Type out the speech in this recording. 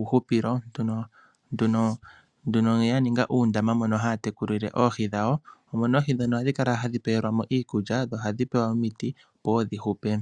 uuhupilo omo ihe ya ninga uundama moka haa tekulile oohi ,omo ihe hadhi pewelwa mo iikulya dho ohadhi pewelwa mo omiti opo wo dhi hupe.